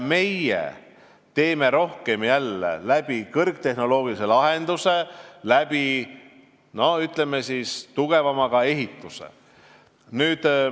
Meie kasutame jälle rohkem kõrgtehnoloogilisi lahendusi ja tugevamat ehitust.